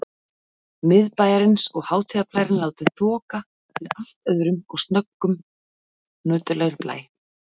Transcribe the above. Miðbæjarins og hátíðarblærinn látinn þoka fyrir allt öðrum og snöggtum nöturlegri blæ.